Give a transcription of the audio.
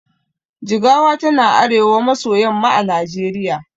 Jigawa yana arewa maso yamma a najeriya